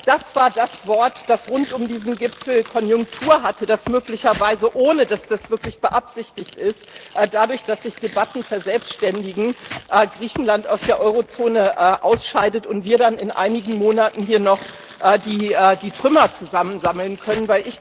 Das war das Wort, das rund um diesen Gipfel Konjunktur hatte, dass möglicherweise ohne dass das wirklich beabsichtigt ist dadurch, dass sich Debatten verselbstständigen, Griechenland aus der Eurozone ausscheidet und wir dann in einigen Monaten hier nur noch die Trümmer zusammensammeln können.